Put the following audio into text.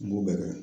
N b'o bɛɛ kɛ